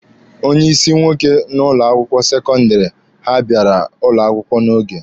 Onye ịsị nwoke n'ụlọ akwụkwọ sekọndịrị ha bịara ụlọ akwụkwọ n'oge.